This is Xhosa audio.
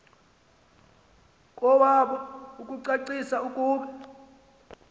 kowabo ukucacisa ukuba